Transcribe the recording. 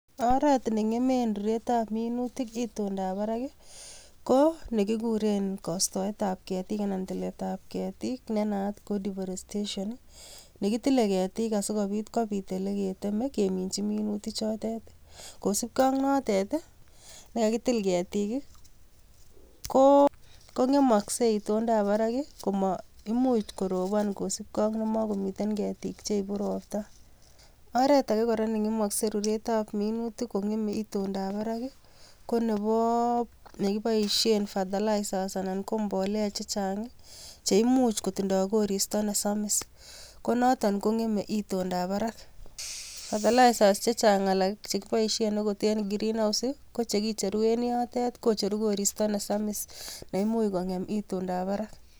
Oret ne ng'eme ruretab minutik itondab barak, ko nekiguren istoetab ketik anan temetab ketik ne naat ko deforestation. Nekitilei ketik asikobit kobit ole ketemei keminchi minutik chotet. Kosupkei ak notet, nekakitil ketik, ko ng'emoskei itondab barak koma imuch koropon kosupkei ak nemakomiten ketik cheipu ropta. Oret age kora ne ng'emaskei ruretab minutik kong'emei itondab barak, konebo, nekiboishen fertilizer anan ko mbolea chechang, che imuch kotindoi koristo nesamis, ko notok kong'emei itondab barak. fertilizers chechag alak che kiboishe eng green house ko chekicheru en yotok kocheru koristo nesamis, neimuch kong'em itondab barak.